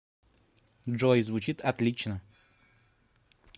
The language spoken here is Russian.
джой звучит отлично